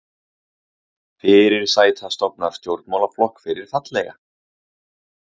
Fyrirsæta stofnar stjórnmálaflokk fyrir fallega